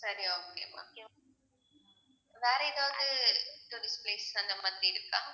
சரி okay ma'am வேற எதாவது tourist place அந்த மாதிரி இருக்கா